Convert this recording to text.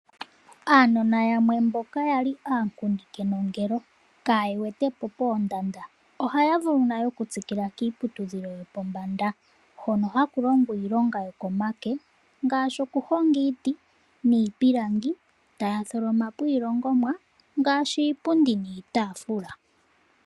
Aanona yamwe mboka yali ankundi kenongelo kaya wetepo pendanda ,ohaya vulu nayo oku tsikila kiiputudhilo yopombanda , hono haku longwa iilonga yokomake ngashi okuhonga iiti , iipilangi ta tholomapo ilongomwa ngaashi iipundi niitafula .